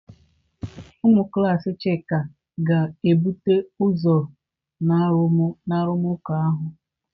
Ụmụ klas Chika ga-ebute ụzọ na arụmụka ahụ.